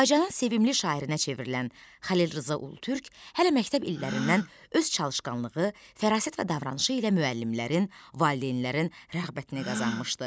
Azərbaycanın sevimli şairinə çevrilən Xəlil Rza Ulutürk hələ məktəb illərindən öz çalışqanlığı, fərasət və davranışı ilə müəllimlərin, valideynlərin rəğbətini qazanmışdı.